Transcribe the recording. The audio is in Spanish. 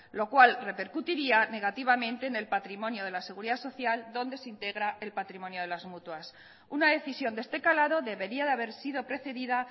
lo cual repercutiría negativamente en el patrimonio de la seguridad social donde se integra el patrimonio de las mutuas una decisión de este calado debería de haber sido precedida